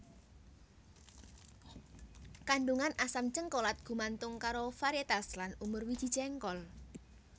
Kandungan asam jéngkolat gumantung karo varietas lan umur wiji jéngkol